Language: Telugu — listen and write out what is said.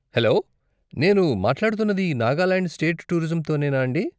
హలో, నేను మాట్లాడుతున్నది నాగాలాండ్ స్టేట్ టూరిజంతోనేనా అండీ?